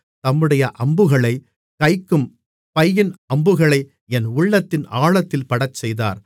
தம்முடைய அம்புகளை வைக்கும் பையின் அம்புகளை என் உள்ளத்தின் ஆழத்தில் படச்செய்தார்